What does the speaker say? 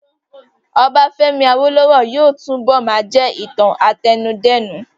Ọbafẹ́mi Awólówọ̀ yóò túnbọ̀ máa jẹ́ ìtàn àtẹnudẹ́nu